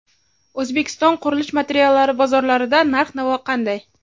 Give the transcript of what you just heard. O‘zbekiston qurilish materiallari bozorlarida narx-navo qanday?.